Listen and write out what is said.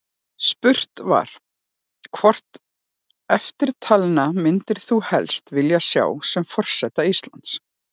Spurt var: Hvert eftirtalinna myndir þú helst vilja sjá sem forseta Íslands?